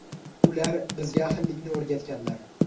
Ular bizga ahillikni o‘rgatganlar.